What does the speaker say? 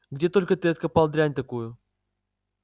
где только ты откопал дрянь такую